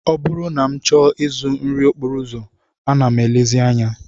Ọ bụrụ na m chọọ ịzụ nri okporo ụzọ, ana m elezi anya